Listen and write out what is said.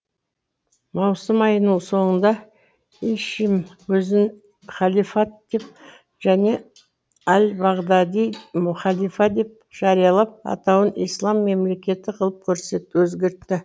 маусым айының соңында ишим өзін халифат деп және әл бағдади халифа деп жариялап атауын ислам мемлекеті қылып өзгертті